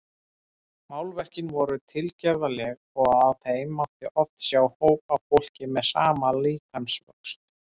Málverkin voru tilgerðarleg og á þeim mátti oft sjá hóp af fólki með sama líkamsvöxt.